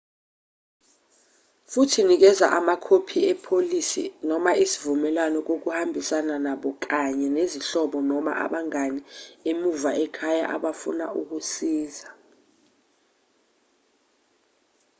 futhi nikeza amakhophi epolisi/isivumelwano kohambisana nabo kanye nezihlobo noma abangane emuva ekhaya abafuna ukusiza